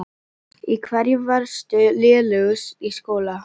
Í hverju varstu lélegust í skóla?